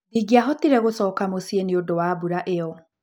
Ndingĩahotire gũcoka mũciĩ nĩ ũndũ wa mbura ĩyo.